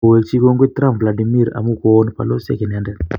Kowekik kongoi Trump Vladimir amun koon baloziek inendet.